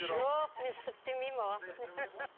жоқ мен сүф демеймін оған